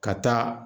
Ka taa